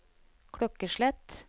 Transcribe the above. klokkeslett